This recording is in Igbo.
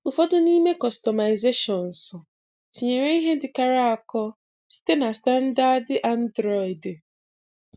Ụfọdụ n'ime kọstọmaịzeshionus tinyere ihe ndị kọrọ akọ site na stanụdadị anụdịrịọdị.